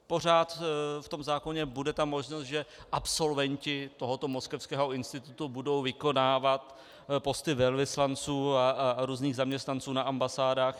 Pořád v tom zákoně bude ta možnost, že absolventi tohoto moskevského institutu budou vykonávat posty velvyslanců a různých zaměstnanců na ambasádách?